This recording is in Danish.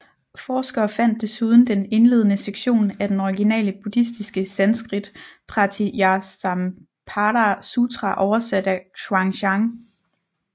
Forskere fandt desuden den indledende sektion af den originale Buddhistiske Sanskrit Pratītyasamutpāda Sutra oversat af Xuanzang